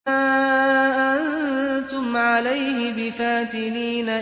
مَا أَنتُمْ عَلَيْهِ بِفَاتِنِينَ